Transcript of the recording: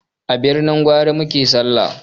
A birnin gwari muke sallah